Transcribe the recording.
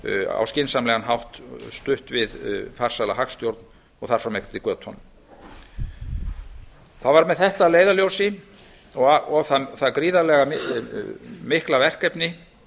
á skynsamlegan hátt stutt við farsæla hagstjórn og þar fram eftir götunum það var með þetta að leiðarljósi og það gríðarlega mikla verkefni